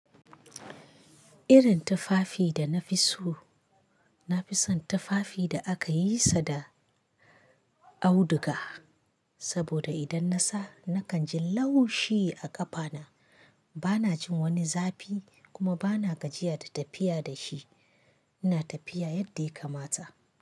Irin tufafi da na fi so, na fi son tufafi da aka yi sa da auduga. Saboda idan na sa, na kan ji laushi a ƙafana. Ba na jin wani zafi, kuma ba na gajiya da tafiya da shi. Ina tafiya yadda ya kamata.